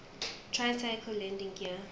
tricycle landing gear